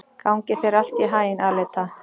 Gangi þér allt í haginn, Aleta.